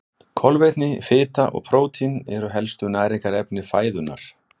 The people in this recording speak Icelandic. Kolvetni, fita og prótín eru helstu næringarefni fæðunnar.